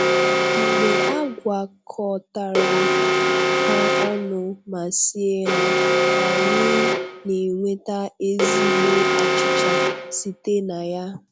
Mgbe a gwakọtara ha ọnụ ma sie ha, anyị n'enweta ezigbo achịcha site na ya.